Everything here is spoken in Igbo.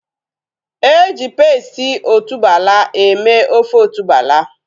Eji pesti otuboala eme ofe otuboala